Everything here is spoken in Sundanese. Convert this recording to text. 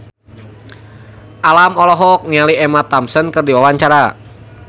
Alam olohok ningali Emma Thompson keur diwawancara